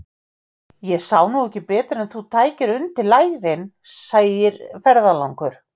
Ég sá nú ekki betur en þú tækir undir lærin, segir ferðalangur.